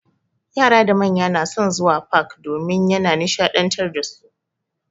Yara da manya na son zuwa fak domin ya na nishaɗantar dasu.